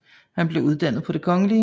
Han blev uddannet på Det Kgl